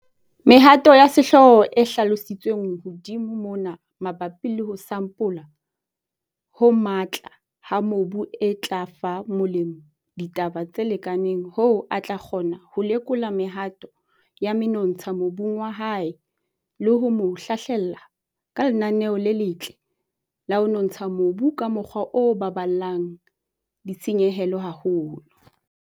Mehato ya sehlooho e hlalositsweng hodimo mona mabapi le ho sampola ho matla ha mobu e tla fa molemi ditaba tse lekaneng hoo a tla kgona ho lekola mehato ya menontsha mobung wa hae le ho mo hlahlella ka lenaneo le letle la ho nontsha mobu ka mokgwa o baballang ditshenyehelo haholo.